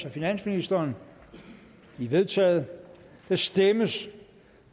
af finansministeren de er vedtaget der stemmes